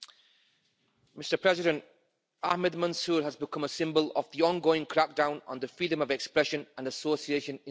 Mr President, Ahmed Mansoor has become a symbol of the ongoing crackdown on freedom of expression and association in the UAE.